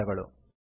ಧನ್ಯವಾದಗಳು